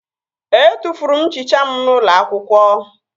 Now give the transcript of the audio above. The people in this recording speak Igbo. Etufuru m nchicha m n'ụlọ akwụkwọ